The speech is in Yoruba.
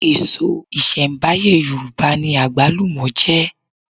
Èso ìṣẹ̀m̀báyé Yorùbá ni àgbálùmọ̀ jẹ́